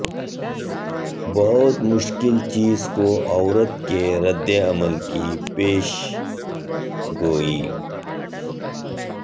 بہت مشکل چیز کو عورت کے رد عمل کی پیشن گوئی